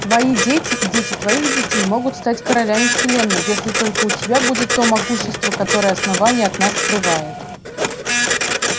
твои дети и дети твоих детей могут стать королями вселенной если только у тебя будет то могущество которое основание от нас скрывает